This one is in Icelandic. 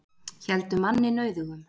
Héldu manni nauðugum